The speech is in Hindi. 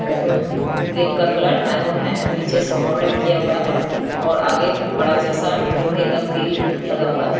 अ उ गेट का कलर मैरून है नीचे से बॉर्डर किया हुआ हैं और आगे बड़ा जैसा लोहे का ग्रिल लगा हुआ हैं।